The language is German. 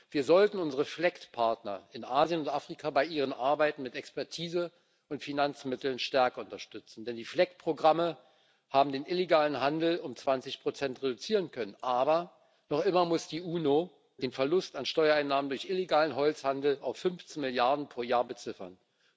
Wir sollten unsere FLEGT Partner in Asien und Afrika bei ihrer Arbeit mit Expertise und Finanzmitteln stärker unterstützen, denn die FLEGT Programme haben den illegalen Handel um 20 reduzieren können. Aber noch immer muss die UNO den Verlust an Steuereinnahmen durch illegalen Holzhandel auf 15 Milliarden pro Jahr beziffern.